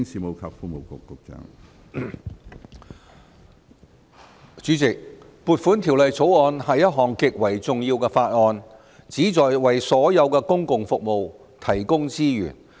主席，《2019年撥款條例草案》是一項極為重要的法案，旨在為所有公共服務提供資源。